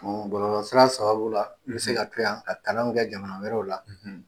Bon bɔlɔlɔ sira sababu la n bɛ se ka to yan ka kalanw kɛ jamana wɛrɛw la